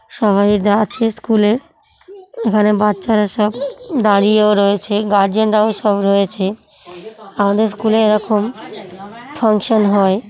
সবাই যা আছে স্কুলে এখানে বাচ্চারা সব দাঁড়িয়েও রয়েছে গার্জেনরাও সব রয়েছে আমাদের স্কুলে এরকম ফাংশন হয়--